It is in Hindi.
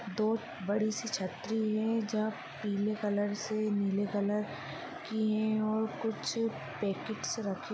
दो बड़ी सी छतरी है जो पीली कलर से नीली कलर की है और कुछ पैकेट्स रखे हुए है।